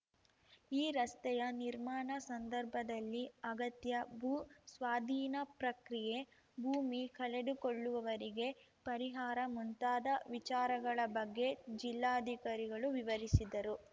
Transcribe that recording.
ಈ ರಸ್ತೆಯ ನಿರ್ಮಾಣ ಸಂದರ್ಭದಲ್ಲಿ ಅಗತ್ಯ ಭೂ ಸ್ವಾಧೀನ ಪ್ರಕ್ರಿಯೆ ಭೂಮಿ ಕಳೆದುಕೊಳ್ಳುವವರಿಗೆ ಪರಿಹಾರ ಮುಂತಾದ ವಿಚಾರಗಳ ಬಗ್ಗೆ ಜಿಲ್ಲಾಧಿಕಾರಿಗಳು ವಿವರಿಸಿದರು